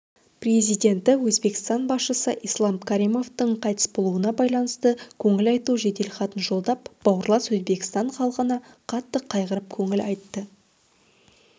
президенті өзбекстан басшысы ислам каримовтің қайтыс болуына байланысты көңіл айту жеделхатын жолдап бауырлас өзбекстан халқына қатты қайғырып көңіл айтты